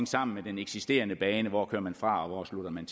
sammen med den eksisterende bane hvor kører man fra og hvor slutter man